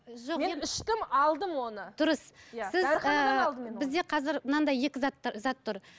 алдым оны дұрыс бізде қазір мынандай екі зат зат тұр